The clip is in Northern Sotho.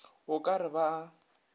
o ka re ba a